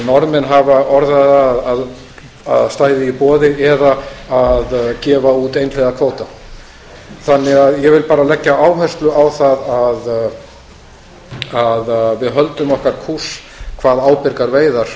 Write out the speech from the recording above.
norðmenn hafa orðað það að stæði í boði eða gefa út einhliða kvóta ég vil bara leggja áherslu á það að við höldum okkar kúrs hvað ábyrgar veiðar